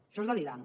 això és delirant